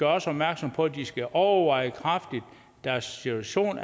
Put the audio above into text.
også opmærksom på at de kraftigt skal overveje deres situation